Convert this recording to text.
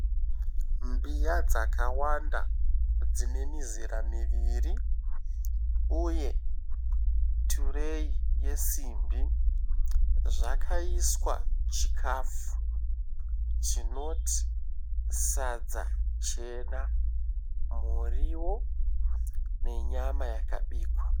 Mbiya dzakawanda dzine mizira miviri uye tureyi yesimbi zvakaiswa chikafu chinoti sadza jena, muriwo nenyama yakabikwa.